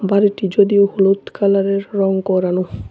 বাড়িটি যদিও হলুদ কালারের রং করানো।